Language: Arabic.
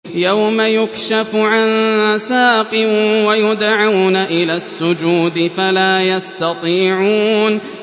يَوْمَ يُكْشَفُ عَن سَاقٍ وَيُدْعَوْنَ إِلَى السُّجُودِ فَلَا يَسْتَطِيعُونَ